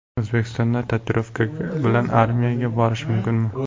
O‘zbekistonda tatuirovka bilan armiyaga borish mumkinmi?.